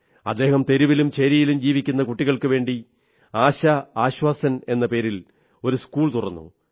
അദ്ദേഹം തെരുവിലും ചേരിയിലും ജീവിക്കുന്ന കുട്ടികൾക്കുവേണ്ടി ആശാആശ്വാസൻ എന്ന പേരിൽ ഒരു സ്കൂൾ തുറന്നു